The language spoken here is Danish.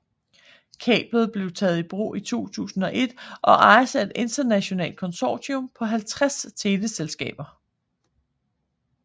Kablet blev taget i brug i 2001 og ejes af et internationalt konsortium på 50 teleselskaber